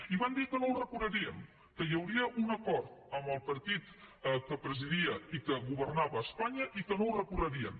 i van dir que no ho recorrerien que hi hauria un acord amb el partit que presidia i que governava a espanya i que no ho recorrerien